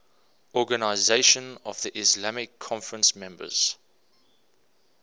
organisation of the islamic conference members